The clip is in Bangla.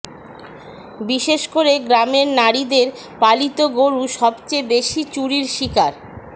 বিশেষ করে গ্রামের নারীদের পালিত গরু সবচেয়ে বেশী চুরির শিকার